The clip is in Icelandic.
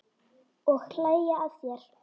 Og hlæja að þér.